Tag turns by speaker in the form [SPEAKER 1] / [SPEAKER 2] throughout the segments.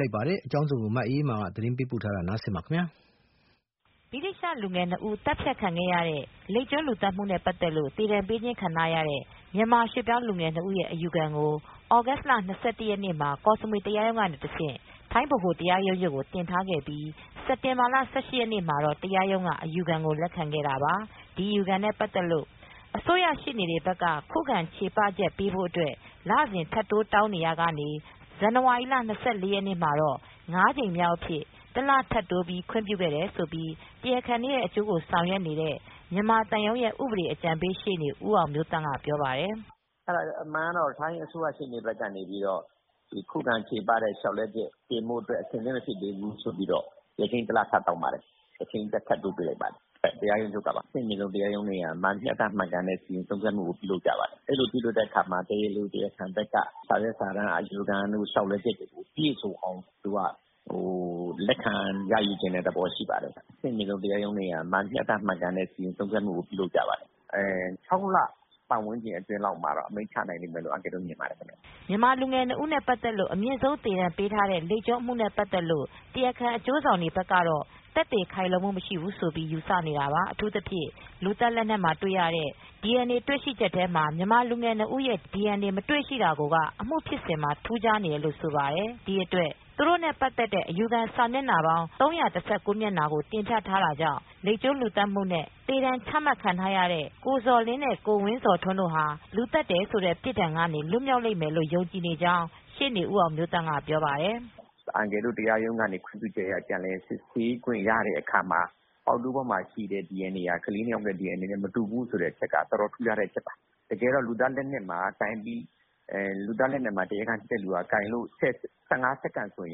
[SPEAKER 1] လိုက်ပါတယ်။ ဗွီအိုမြန်မာပိုင်းသတင်းထောက် မအေးမာက သတင်းပေးပို့ထားပါတယ်။
[SPEAKER 2] ဗြိတိသျှလူငယ်နှစ်ဦး သတ်ဖြတ်ခံခဲ့ရတဲ့ လိပ်ကျွန်းလူသတ်မှုနဲ့ ပတ်သက်လို့ သေဒဏ်ပေးခြင်းခံ ထားရတဲ့ မြန်မာရွှေ့ပြောင်းလူငယ်နှစ်ဦးရဲ့ အယူခံကို သြဂုတ်လ ၂၁ရက်နေ့မှာ ကော့စမွေတရားရုံးကတဆင့် ထိုင်းဗဟိုတရားရုံးချုပ်ကို တင်ထားခဲ့ပြီး စက်တင်ဘာလ ၁၈ရက်နေ့မှာတော့ တရားရုံးကနေ အယူခံကိုလက်ခံခဲ့ပါတယ်။ ဒီအယူခံနဲ့ ပတ်သက်လို့အစိုးရှေ့နေတွေဘက်က ခုခံချေပချက်ပေးဖို့အတွက် လစဉ်ထပ်တိုးတောင်းဆိုနေရာမှာ ဇန်နဝါရီလ ၂၄ရက်နေမှာတော့ ၅ ကြိမ်မြောက်အဖြစ် တလထပ်တိုးပြီး ခွင့်ပြုခဲ့တယ်လို့ တရားခံတွေရဲ့ အကျိုးဆောင်ရွက်နေတဲ့မြန်မာသံရုံးရဲ့ ဥပဒေအကြံပေး ရှေ့နေဦးအောင်မျိုးသန့် က ပြောပါတယ်
[SPEAKER 1] ။ “အမှန်တော့ ထိုင်းအစိုးရရှေ့နေဘက်ကနေ ခုခံလျှောက်လဲချက်တင်ဖို့ အတွက် အဆင်သင့်မဖြစ်သေးဘူးဆိုပြီး ရက်ချိန်း တလ ထပ်တောင်းပါတယ်။ရက်ချိန်း တလ ထပ်တိုးပေး လိုက်ပါတယ်။ တရားရုံးချုပ်ကပါ။ အဆင်မြင့်ဆုံးတရားရုံးတွေက မျှတမှန်ကန်တဲ့ စီရင်ဆုံးဖြတ်မှု ကိုပြုလုပ်ကြပါတယ်။ အဲဒီလိုပြုလုပ်တဲ့အခါမှာ တရားလို၊ တရားခံတွေဘက်ကနေ စာရွက်စာတမ်းအယူခံတို့၊ လျောက်လဲချက်တွေကို ပြည့်စုံအောင် လက်ခံရယူချင်တဲ့ သဘောရှိပါတယ်။ အဆင့်မြင့်ဆုံးတရားရုံးတွေက မျှတမှန်ကန်တဲ့စီရင်ဆုံးဖြတ်မှုကို လုပ်ကြပါတယ်။ ၆လလောက် ပတ်ဝန်းကျင်အတွင်းလောက်မှာတော့ အမိန့်ချဖြစ်လိမ့်မယ်လို့ထင်ပါတယ်
[SPEAKER 2] ။” မြန်မာလူူငယ်နှစ်ဦးနဲ့ ပတ်သက်လို့အမြင့်ဆုံး သေဒဏ်ပေးထားတဲ့ လိပ်ကျွန်းအမူနဲ့ပတ်သက်လို့ တရားခံအကျိုးဆောင်တွေဘက်ကတော့ သက်သေခိုင်လုံမူမရှိဘူးလို့ ယူဆနေတာပါ။ အထူးသဖြင့် လူသတ်လက်နက်မှာတွေရတဲ့ DNA တွေ့ရှိချက်ထဲမှာ မြန်မာလူငယ်နှစ်ဦး ရဲ့ DNA မတွေ့ရှိတာကို က အမူဖြစ်စဉ်မှာ ထူးခြားနေတယ်လို့ ဆိုပါတယ်။ ဒီအတွက် သူတိုနဲ့ ပတ်သက်တဲ့ အယူခံစာမျက်နှာပေါင်း ၃၁၉မျက်နှာကို တင်ပြထားတာကြောင့် လိပ်ကျွန်း လူသတ်မှုနဲ့ သေဒဏ်ချမှတ်ခံထားရတဲ့ ကိုဇော်လင်းနဲ့ ကိုဝင်းဇော်ထွန်းတို့ သတ်တယ်ဆိုတဲ့ ပြစ်ဒဏ်ကနေ လွတ်မြောက်လိမ့်မယ်လို့ယုံကြည်နေကြောင်း ရှေ့နေဦးအောင်မျိုးသန့် ကပြောပါတယ်။ “
[SPEAKER 1] အန်ကယ်တို့ အနေနဲ့ တရားရုံးကနေခွင့်ပြချုက်အရ ပြန်လည်စစ်ဆေးခွင့်ရတော့ ပေါက်တူးပေါ်မှာတွေ့တဲ့ DNA က ကလေး နှစ် ဦး DNA မတူဘူးဆိုတာ အတော်ထူးခြားတဲ့ အဓိက အချက်ပါ။ တကယ်တော့ လူသတ်လက်နက်မှာ တရားခံက ကိုင်တယ်ဆိုရင် ၁၅စက္ကန့် ဆို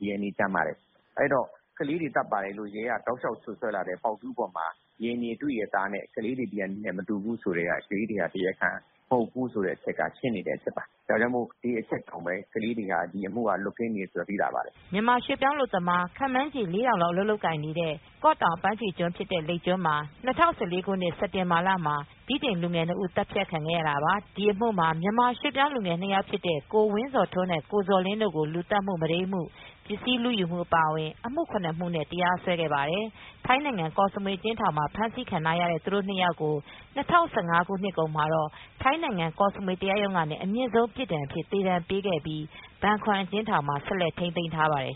[SPEAKER 1] DNA ကျန်ပါတယ်။ ကလေးတွေသတ်ပါတယ်ဆိုတဲ့ ရဲက တောက်လျှောက်စွပ်စွဲလာတဲ့ ပေါက်တူးပေါ်မှာ DNA တွေ့တယ်။ အဲဒီ DNA ဟာ ကလေးတွေ DNA မဟုတ်ဘူးဆိုတာနဲ့ ရှင်းနေတဲ့ ကိစ္စပါ။ ဒီအတွက်ကလေးတွေဟာ ဒီအမှုက လွတ်ကင်းမယ်လို့သိသာနိုင်ပါတယ်
[SPEAKER 2] ။ မြန်မာရွှေ့ပြောင်းအလုပ်သမား ခန့်မှန်းချေ ၄,၀၀၀ လောက် အလုပ်လုပ်ကိုင်နေတဲ့ ကော့တောင်အပမ်းဖြေကျွန်း ဖြစ်တဲ့ လိပ်ကျွန်းမှာ ၂၀၁၄ ခုနှစ် စက်တင်ဘာလမှာ ဗြိတိန်လူငယ် နှစ် ဦး သတ်ခံခဲ့ရတာပါ။ ဒီအမှုမှာ မြန်မာရွှေ့ပြောင်းလူငယ် နှစ်ယောက်ဖြစ်တဲ့ ကိုဝင်းဇော်ထွန်းနဲ့ ကိုဇော်လင်းတို့ကို လူသတ်မှု၊ မုဒိမ်းမှု၊ ပစ္စည်းလူယူမှု အပါအဝင် အမှု ၇ မှုနဲ့ တရားစွဲခဲ့ပါတယ်။ ထိုင်းနိုင်ငံကော့စမွေ အကျဉ်းထောင်မှာ ဖမ်းဆီးခံထားရတဲ့ သူတို့ နှစ် ယောက်ကို ၂၀၁၅ ခုနှစ်ကုန်မှာတော့ ကောစမွေတရားရုံးကနေ အမြင့်ဆုံးပြစ်ဒဏ်အဖြစ် သေဒဏ်ပေးခဲ့ပြီး ဘန်ခွမ်အကျဉ်းထောင်မှာ ဆက်လက်ထိမ်းသိမ်းထားပါတယ်